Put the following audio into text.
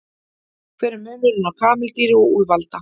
Hver er munurinn á kameldýri og úlfalda?